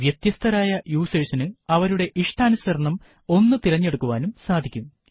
വ്യത്യസ്തരായ യൂസേർസിനു അവരുടെ ഇഷ്ടാനുസരണം ഒന്ന് തിരഞ്ഞെടുക്കുവാനും സാധിക്കും